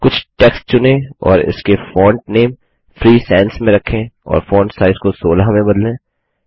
कुछ टेक्स्ट चुनें और इसके फॉन्ट नेम फ्री Sansमें रखें और फॉन्ट साइज को 16 में बदलें